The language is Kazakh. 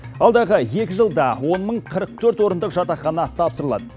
алдағы екі жылда он мың қырық төрт орындық жатақхана тапсырылады